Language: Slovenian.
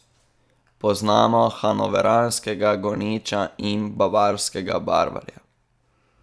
Poznamo hanoveranskega goniča in bavarskega barvarja.